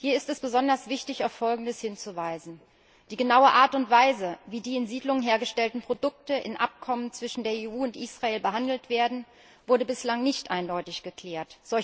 Hier ist es besonders wichtig, auf Folgendes hinzuweisen Die genaue Art und Weise, wie die in Siedlungen hergestellten Produkte in Abkommen zwischen der EU und Israel behandelt werden, wurde bislang nicht eindeutig geklärt.